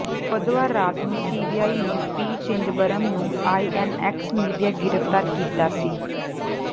ਬੁੱਧਵਾਰ ਰਾਤ ਨੂੰ ਸੀਬੀਆਈ ਨੇ ਪੀ ਚਿਦੰਬਰਮ ਨੂੰ ਆਈਐੱਨਐੱਕਸ ਮੀਡੀਆ ਗ੍ਰਿਫ਼ਤਾਰ ਕੀਤਾ ਸੀ